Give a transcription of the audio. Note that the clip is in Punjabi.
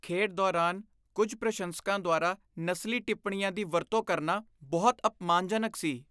ਖੇਡ ਦੌਰਾਨ ਕੁੱਝ ਪ੍ਰਸ਼ੰਸਕਾਂ ਦੁਆਰਾ ਨਸਲੀ ਟਿੱਪਣੀਆਂ ਦੀ ਵਰਤੋਂ ਕਰਨਾ ਬਹੁਤ ਅਪਮਾਨਜਨਕ ਸੀ।